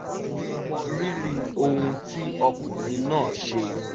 ó mọ rírì ohun tí ọkùnrin náà ṣe